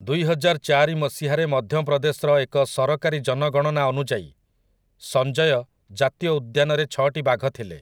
ଦୁଇହଜାରଚାରି ମସିହାରେ ମଧ୍ୟପ୍ରଦେଶର ଏକ ସରକାରୀ ଜନଗଣନା ଅନୁଯାୟୀ, ସଞ୍ଜୟ ଜାତୀୟ ଉଦ୍ୟାନରେ ଛଅଟି ବାଘ ଥିଲେ ।